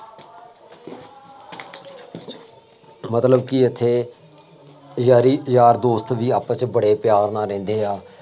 ਮਤਲਬ ਕਿ ਇੱਥੇ ਯਾਰੀ ਯਾਰ ਦੋਸਤ ਵੀ ਆਪਸ ਚ ਬੜੇ ਪਿਆਰ ਨਾਲ ਰਹਿੰਦੇ ਆਂ,